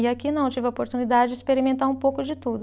E aqui não, eu tive a oportunidade de experimentar um pouco de tudo.